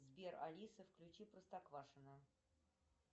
сбер алиса включи простоквашино